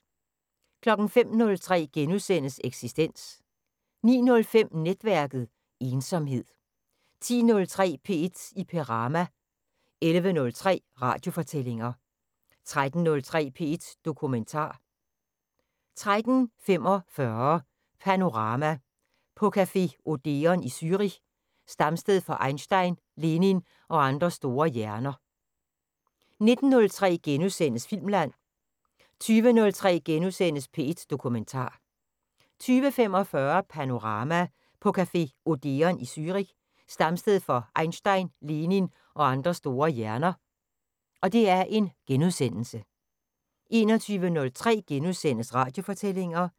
05:03: Eksistens * 09:05: Netværket: Ensomhed 10:03: P1 i Perama 11:03: Radiofortællinger 13:03: P1 Dokumentar 13:45: Panorama: På café Odeon i Zürich, stamsted for Einstein, Lenin og andre store hjerner 19:03: Filmland * 20:03: P1 Dokumentar * 20:45: Panorama: På café Odeon i Zürich, stamsted for Einstein, Lenin og andre store hjerner * 21:03: Radiofortællinger *